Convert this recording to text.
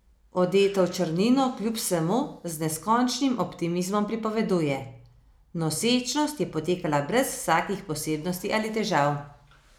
Odeta v črnino kljub vsemu z neskončnim optimizmom pripoveduje: "Nosečnost je potekala brez vsakih posebnosti ali težav.